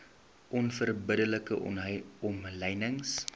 onverbidde like omlynings